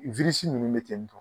ninnu bɛ cɛn